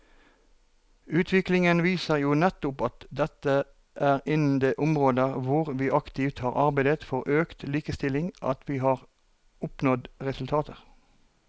Utviklingen viser jo nettopp at det er innen de områder hvor vi aktivt har arbeidet for økt likestilling at vi har oppnådd resultater.